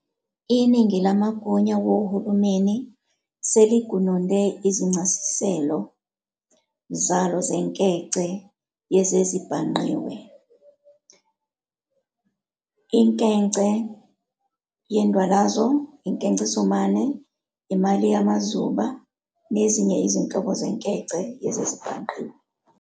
Iningi lamagunya wohulumeni seligununde izincasiselo zalo zenkece yezezibhangqiwe, inkece yendwalazo, inkecesomane, imali yamazuba, nezinye izinhlobo zenkece yezezibhangqiwe.